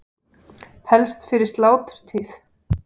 Helst fyrir sláturtíð.